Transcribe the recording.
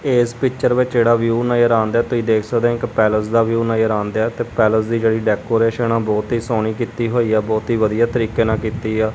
ਇਸ ਪਿੱਚਰ ਵਿੱਚ ਜਿਹੜਾ ਵਿਊ ਨਜ਼ਰ ਆਉਣ ਦਿਆ ਤੁਸੀਂ ਦੇਖ ਸਕਦੇ ਹੋ ਇੱਕ ਪੈਲਸ ਦਾ ਵਿਊ ਨਜ਼ਰ ਆਉਣ ਦਿਆ ਤੇ ਪੈਲਸ ਦੀ ਜਿਹੜੀ ਡੈਕੋਰੇਸ਼ਨ ਆ ਬਹੁਤ ਹੀ ਸੋਹਣੀ ਕੀਤੀ ਹੋਈ ਆ ਬਹੁਤ ਹੀ ਵਧੀਆ ਤਰੀਕੇ ਨਾਲ ਕੀਤੀ ਆ।